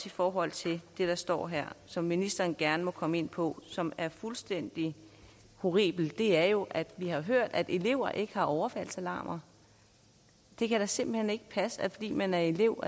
i forhold til det der står her og som ministeren gerne må komme ind på som er fuldstændig horribelt er jo at vi har hørt at elever ikke har overfaldsalarmer det kan da simpelt hen ikke passe at fordi man er elev